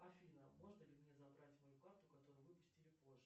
афина можно ли мне забрать мою карту которую выпустили позже